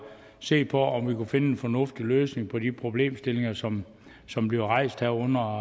se på om vi kunne finde en fornuftig løsning på de problemstillinger som som bliver rejst her under